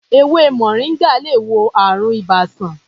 Èwe moringa lè wo àrùn ibà sàn.